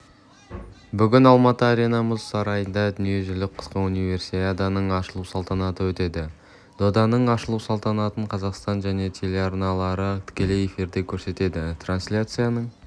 бүгін алматы арена мұз сарайында дүниежүзілік қысқы универсиаданың ашылу салтанаты өтеді доданың ашылу салтанатын қазақстан және телеарналары тікелей эфирде көрсетеді трансляцияның